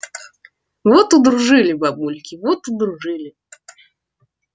вот удружили бабульки вот удружили